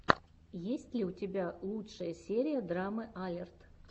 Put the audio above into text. есть ли у тебя лучшая серия драмы алерт